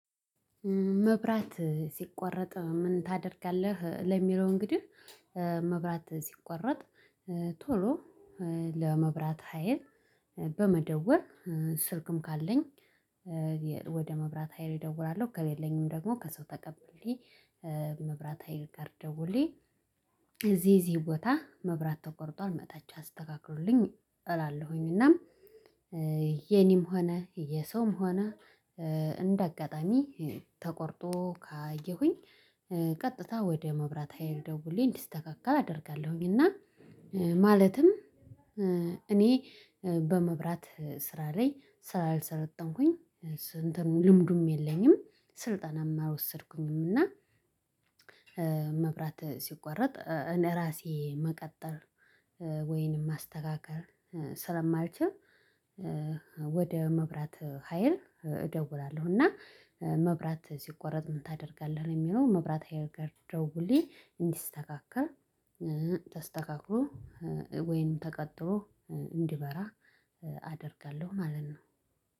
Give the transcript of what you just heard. መብራት ሲቆረጥ ምን ታደርጋለህ ለሚለው እንግዲህ መብራት ሲቆረጥ ቶሎ ለመብራት ሀይል በመደወል ስልክም ካለኝ ወደ መብራት ሀይል እደውላለሁ ከሌለኝም ደግሞ ከሰው ተቀብሌ መብራት ሀይል ጋር ደውሌ እዚህ እዚህ ቦታ መብራት ተቆርጧል መጣች አስተካክሉልኝ እላለሁኝ እና የኔም ሆነ የሰውም ሆነ እንደ አጋጣሚ ተቆርጦ ካየሁኝ ቀጥታ ወደ መብራት ሀይል ደውልዬ እንዲስተካካ አደርጋለሁኝ እና ማለትም እኔ በመብራት ስራ ላይ ስላልሰለጠንኩኝ ስንትም ልምዱም የለኝም ስልጠናም አልወሰድኩምም እና መብራት ሲቋረጥ እኔ ራሴ መቀጠል ወይንም ማስተካከል ስለማልችል ወደ መብራት ሀይል እደውላለሁ እና መብራት ሲቆረጥ ምን ታደርጋለህ ለሚለው መብራት ሀይል ጋ ደውሌ እንዲስተካከል ተስተካክሎ ወይንም ተቀጥሎ እንዲበራ አደርጋለሁ ማለት ነው።